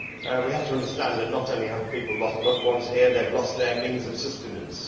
We have to understand that, not only have people lost loved ones here, they have lost their means of sustenance.